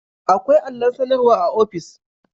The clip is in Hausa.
Akwai allon sanarwa a office